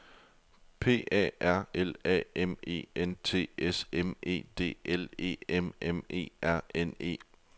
P A R L A M E N T S M E D L E M M E R N E